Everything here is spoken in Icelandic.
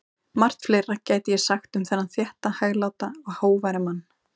Margt fleira gæti ég sagt um þennan þétta, hægláta og hógværa mann.